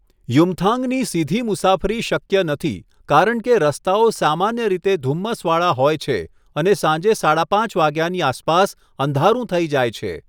યુમથાંગની સીધી મુસાફરી શક્ય નથી કારણ કે રસ્તાઓ સામાન્ય રીતે ધુમ્મસવાળા હોય છે અને સાંજે સાડા પાંચ વાગ્યાની આસપાસ અંધારું થઈ જાય છે.